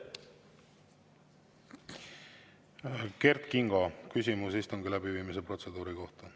Kert Kingo, küsimus istungi läbiviimise protseduuri kohta.